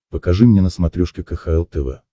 покажи мне на смотрешке кхл тв